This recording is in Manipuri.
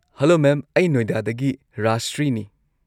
ꯍꯂꯣ ꯃꯦꯝ, ꯑꯩ ꯅꯣꯏꯗꯥꯗꯒꯤ ꯔꯥꯖꯁ꯭ꯔꯤꯅꯤ꯫